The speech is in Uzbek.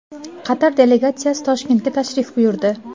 Qatar delegatsiyasi Toshkentga tashrif buyurdi.